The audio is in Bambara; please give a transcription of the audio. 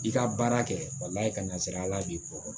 I ka baara kɛ walayi ka nasira ala b'i ko